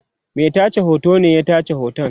Mai tace hoto ne ya tace hoton